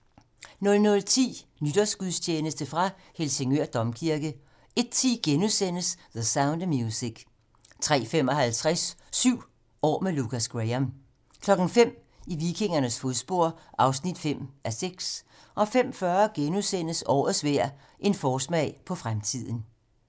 00:10: Nytårsgudstjeneste fra Helsingør Domkirke 01:10: The Sound of Music * 03:55: 7 år med Lukas Graham 05:00: I vikingernes fodspor (5:6) 05:40: Årets vejr - en forsmag på fremtiden *